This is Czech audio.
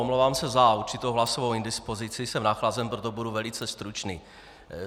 Omlouvám se za určitou hlasovou indispozici, jsem nachlazen, proto budu velice stručný.